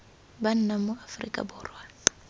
ba nnang mo aforika borwa